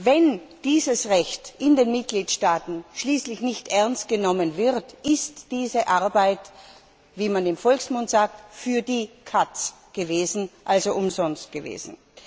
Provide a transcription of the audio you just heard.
Wenn dieses Recht in den Mitgliedstaaten schließlich nicht ernst genommen wird, ist diese Arbeit wie man im Volksmund sagt für die Katz, also umsonst gewesen.